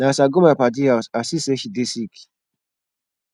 na as i go my paddy house i see sey she dey sick